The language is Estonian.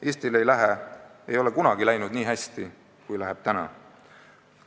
Eestil ei ole kunagi läinud nii hästi, kui läheb praegu.